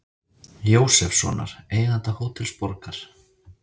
Jósefssonar, eiganda Hótels Borgar.